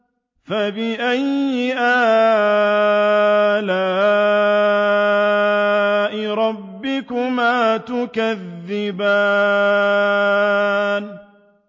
فَبِأَيِّ آلَاءِ رَبِّكُمَا تُكَذِّبَانِ